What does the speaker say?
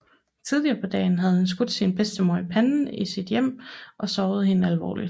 Tidligere på dagen havde han skudt sin bedstemor i panden i sit hjem og såret hende alvorligt